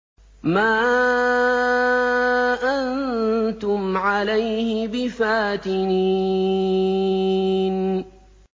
مَا أَنتُمْ عَلَيْهِ بِفَاتِنِينَ